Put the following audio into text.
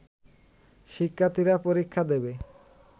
শিক্ষার্থীরা পরীক্ষা দেবে